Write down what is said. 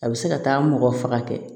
A bɛ se ka taa mɔgɔ faga kɛ